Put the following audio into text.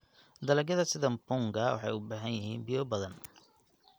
Dalagyada sida mpunga waxay u baahan yihiin biyo badan.